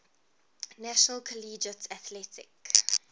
national collegiate athletic